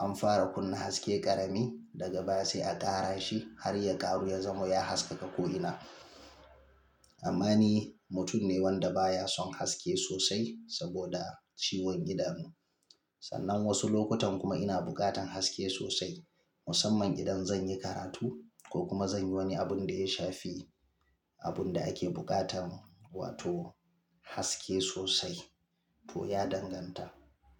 an fara kunna haske ƙarami daga baya sai a ƙara shi har ya ƙaru ya zamo ya haskaka ko'ina. Amma ni mutum ne wanda baya son haske sosai saboda ciwon idanu. Sannan wasu lokutan kuma ina buƙatar haske sosai musamman idan zan yi karatu ko kuma zan yi wani abun da ya shafi abun da ake buƙata wato haske sosai. To ya danganta.